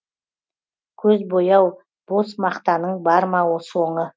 көз бояу бос мақтанның бар ма соңы